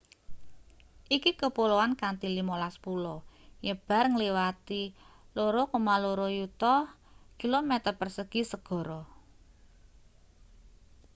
iki kepuloan kanthi 15 pulo nyebar ngliwati 2,2 yuta km2 segara